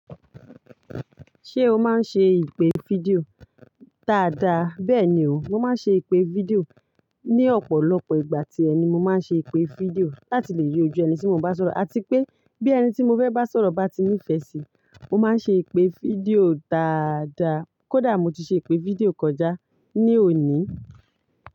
Ṣé o máa ń ṣe ìpè fídíò? Daàdà, bẹ́ẹ̀ni o, mo máa ń ṣe ìpè fídíò. Ni ọ̀pọ̀lọpọ̀ ìgbà tí ẹ ni mo máa ń ṣe ìpè fídíò láti lè rí ojú ẹni tí mo bá sọ̀rọ̀, àti pé bí ẹni tí mo fẹ́ bá sọ̀rọ̀ bá ti nífẹ̀ẹ́ sí i, mo máa ń ṣe ìpè fídíò daadà. Kódà mo ti ṣe ìpè fídíò kọjá ní òní.